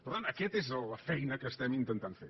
per tant aquesta és la feina que estem intentant fer